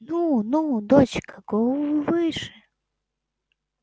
ну ну дочка голову выше